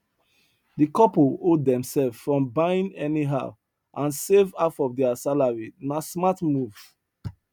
the couple hold themselves from buying anyhow and save half of their salaryna smart move